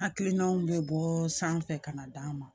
Hakilinaw bɛ bɔ sanfɛ ka na d'an ma